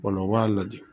O la u b'a lajɛ